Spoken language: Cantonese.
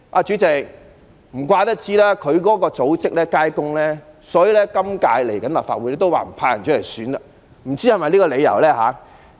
主席，他的組織街坊工友服務處不會派出代表參選下屆立法會，不知是否因為這個理由呢？